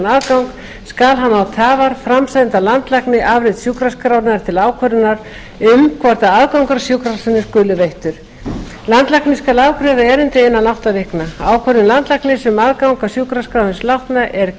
aðgang skal hann án tafar framsenda landlækni afrit sjúkraskrárinnar til ákvörðunar um hvort aðgangur að sjúkraskránni skuli veittur landlæknir skal afgreiða erindið innan átta vikna ákvörðun landlæknis um aðgang að sjúkraskrá hins látna er